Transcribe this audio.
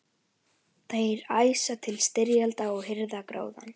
Þeir æsa til styrjalda og hirða gróðann.